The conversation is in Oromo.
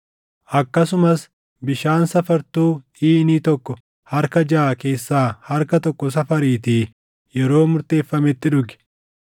Akkasuma bishaan safartuu iinii tokko harka jaʼa keessaa harka tokko safariitii yeroo murteeffametti dhugi.